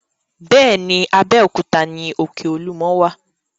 Bẹ́ẹ̀ ni, Abéòkúta ni òkè Olúmọ wà.